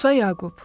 Musa Yaqub.